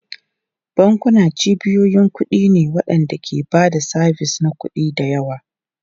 Bankuna cibiyoyin kuɗi ne waɗanda ke ba da sabis na kuɗi da yawa.